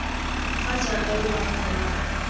fa jaaka lo bona morwarre